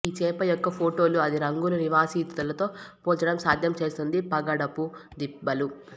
ఈ చేప యొక్క ఫోటోలు అది రంగుల నివాసితులతో పోల్చడం సాధ్యం చేస్తుంది పగడపు దిబ్బలు